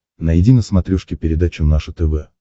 найди на смотрешке передачу наше тв